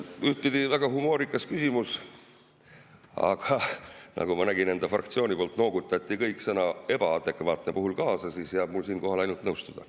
Ühtpidi väga humoorikas küsimus, aga nagu ma nägin enda fraktsiooni ridadest, kõik noogutasid sõna "ebaadekvaatne" puhul kaasa, ja mul jääb siinkohal ainult nõustuda.